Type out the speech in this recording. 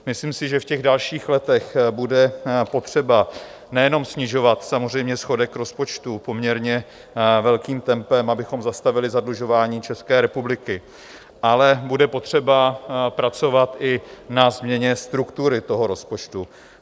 Myslím si, že v těch dalších letech bude potřeba nejenom snižovat samozřejmě schodek rozpočtu poměrně velkým tempem, abychom zastavili zadlužování České republiky, ale bude potřeba pracovat i na změně struktury toho rozpočtu.